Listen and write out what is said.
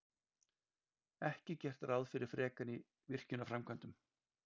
Ekki gert ráð fyrir frekari virkjanaframkvæmdum